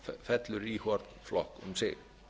fellur í hvorn flokk um sig